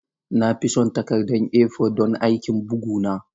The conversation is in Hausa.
Na fi son takarda A4 don aikin bugu na.